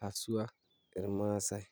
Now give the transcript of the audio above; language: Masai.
haswa irmaasi.